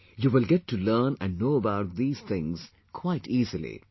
You will get to learn and know about these things quite easily